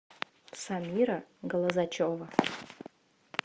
самира глазачева